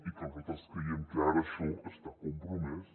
i nosaltres creiem que ara això està compromès